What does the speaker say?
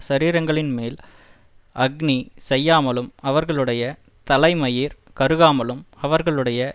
சரீரங்களின்மேல் அக்கினி செய்யாமலும் அவர்களுடைய தலைமயிர் கருகாமலும் அவர்களுடைய